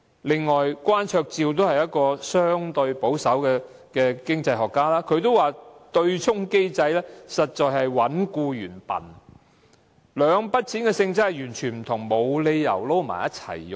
此外，關焯照也是一位相對保守的經濟學家，他也表示對沖機制實在是"搵僱員笨"，兩筆供款的性質完全不同，沒有理由混在一起使用。